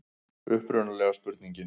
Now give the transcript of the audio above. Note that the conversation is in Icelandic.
Upprunalega spurningin: